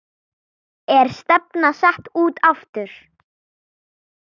Er stefnan sett út aftur?